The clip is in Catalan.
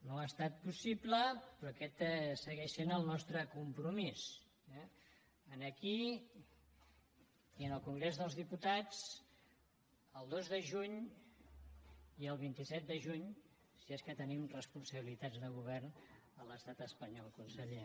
no ha estat possible però aquest segueix sent el nostre compromís eh aquí i en el congrés dels diputats el dos de juny i el vint set de juny si és que tenim responsabilitats de govern a l’estat espanyol conseller